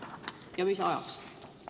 Ja mis ajaks?